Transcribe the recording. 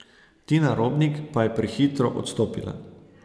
Tina Robnik pa je prehitro odstopila.